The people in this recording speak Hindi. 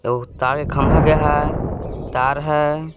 तो तार के खंबा गया है तार है।